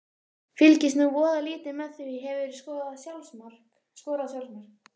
Fylgist nú voða lítið með því Hefurðu skorað sjálfsmark?